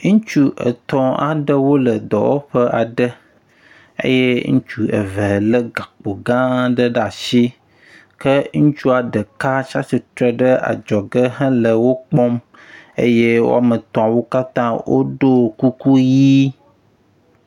ŋitsu etɔ̃ aɖewo le dɔwɔƒe aɖe eye ŋitsu eve le gakpo gã aɖe ɖe asi ke ŋitsuɔ ɖeka tsatsitsre ɖe adzɔge hele wokpɔm eye wɔmetɔwo katã woɖó kuku yi